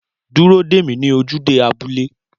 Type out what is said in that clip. Dúró dè mí ní ojúde abúlé